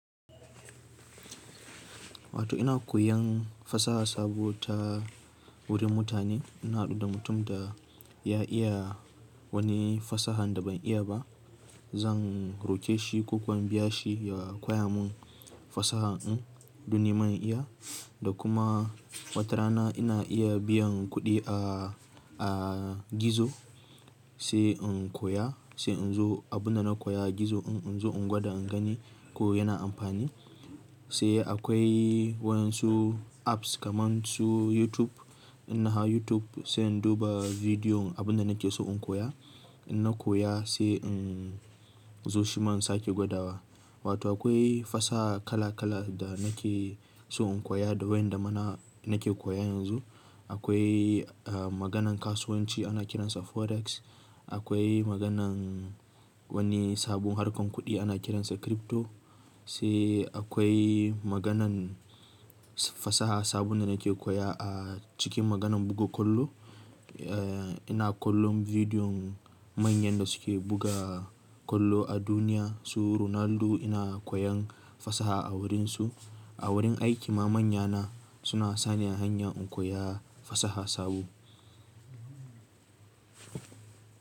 Wato ina koyan fasaha sabo ta wurin mutane. Ina haɗu da mutum da ya iya wani fasaha da ban iya ba, Zan roƙe shi, ko ko in biya shi ya koya mun fasaha ɗin, dun nima in iya. Da kuma, watarana ina iya biyan kuɗi a, a gizo, sai in koya, sai in zo abunda na koya a gizo in, in zo in gwada in gani ko yana amfani. Sai akwai waƴansu apps, kaman su YouTube. Inna hau YouTube sai in duba bidiyon abunda nake so in koya. In na koya sai in zo shima in sake gwadawa. Wato akwai fasaha kala-kala da nake so in koya da waƴanda mana, nake koya yanzu, Akwai, ah, maganan kasuwanci ana kiransa Forex, Akwai maganan wani sabon harkar kuɗi ana kiransa crypto, sai akwai maganan fasaha sabunda nake koya a cikin maganan buga kollo. Eh, ina kollon bidiyon manyan da suke buga kollo a duniya, su Ronaldo ina koyan fasaha a wurinsu, A wurin aiki ma manyana, suna sa ni a hanya in koya fasaha sabo,